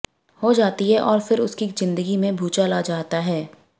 हो जाती हैं और फिर उनकी जिंदगी में भूचाल आ जाता है